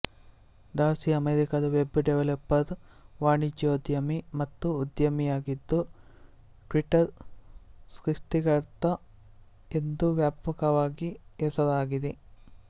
Darcy ಅಮೆರಿಕದ web developer ವಾಣಿಜ್ಯೋದ್ಯಮಿ ಮತ್ತು ಉದ್ಯಮಿಯಾಗಿದ್ದು ಟ್ವಿಟರ್ ಸೃಷ್ಟಿಕರ್ತ ಎಂದು ವ್ಯಾಪಕವಾಗಿ ಹೆಸರಾಗಿದೆ